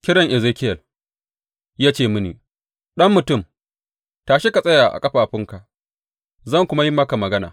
Kiran Ezekiyel Ya ce mini, Ɗan mutum, tashi ka tsaya a ƙafafunka zan kuma yi maka magana.